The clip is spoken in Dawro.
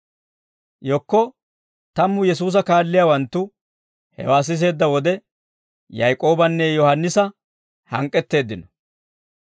Yekko tammu Yesuusa kaalliyaawanttu hewaa siseedda wode, Yaak'oobanne Yohaannisa hank'k'etteeddino.